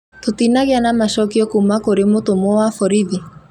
Tũtinagĩa na macokio kuma kũrĩ mũtũmwo wa borithi